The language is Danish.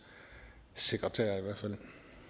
sekretær i hvert fald